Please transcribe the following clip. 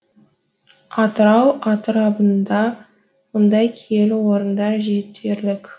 атырау атырабында мұндай киелі орындар жетерлік